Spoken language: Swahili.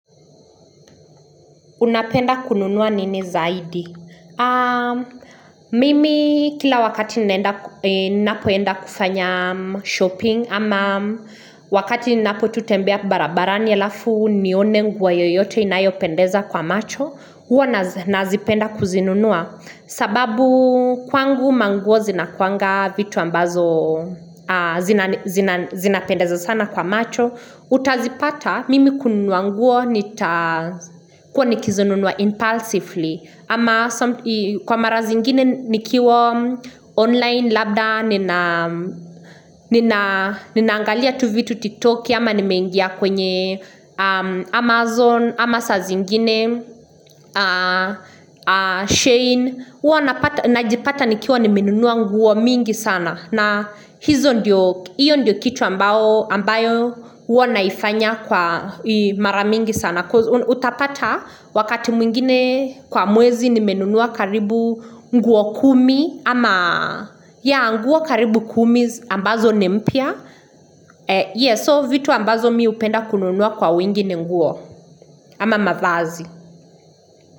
Unapenda kununua nini zaidi? Mimi kila wakati ninapoenda kufanya shopping ama wakati ninapotutembea barabarani alafu nione nguo yoyote inayopendeza kwa macho. Huwa nazipenda kuzinunua. Sababu kwangu manguo zinakuanga vitu ambazo zinapendeza sana kwa macho. Utazipata mimi kununua nguo nitakuwa nikizinunua impulsively ama kwa mara zingine nikiwa online labda nina Ninaangalia tu vitu tiktoki ama nimeingia kwenye Amazon ama saa zingine, Shein huwa najipata nikiwa nimenunua nguo mingi sana na hizo ndiyo kitu ambayo huwa naifanya kwa mara mingi sana. Utapata wakati mwingine kwa mwezi nimenunua karibu nguo kumi ama yeah nguo karibu kumi ambazo ni mpya. Yes, so vitu ambazo mi hupenda kununua kwa wingi ni nguo ama mavazi.